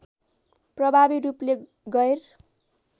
प्रभावी रूपले गैर